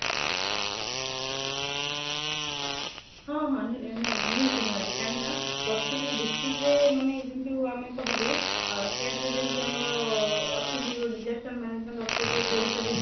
ହଁ ହଁ ନିହାତି ନିହାତି କାହିଁକିନା, ଅରତିକ district ରେ ଯେମିତି ମାନେ ଯେମିତି ଆମେ କହିବେ ଅ state ରେ ଯେମିତି ଆମର ଅଛନ୍ତି disaster management authority of odisha ଯେମିତି